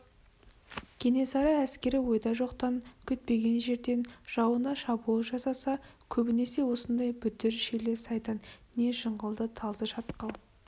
кенесары әскері ойда жоқтан күтпеген жерден жауына шабуыл жасаса көбінесе осындай бүдір шилі сайдан не жыңғылды талды шатқал